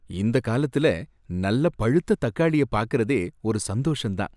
இந்த காலத்துல, நல்ல பழுத்த தக்காளிய பார்க்கிறதே ஒரு சந்தோஷம் தான்.